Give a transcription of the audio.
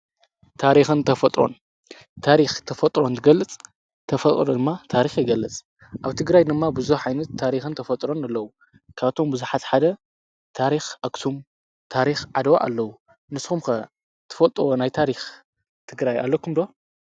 ታሪኸን ተፈጥሮን፣ ታሪኽ ተፈጥሮን እትገልጽ ተፈጥሮ ድማ ታሪኽ ይገልጽ። ኣብ ትግራይ ድማ ብዙኅ ዓይነት ታሪኸን ተፈጥሮን ኣለዉ። ካኣቶም ብዙሓት ሓደ ታሪኽ ኣክሱም፣ ታሪኽ ዓደዋ ኣለዉ። ንስኹም ከ ትፈልጦዎ ናይ ታሪኽ ትግራይ ኣለኩም ዶ?